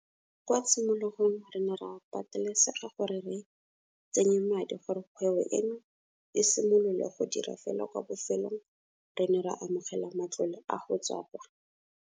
Kwa tshimologong re ne ra patelesega gore re tsenye madi gore kgwebo eno e simolole go dira fela kwa bofelong re ne ra amogela matlole go tswa kwa.